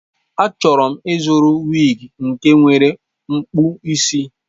Achọrọ m ịzụrụ wig nke nwere mkpụ isi.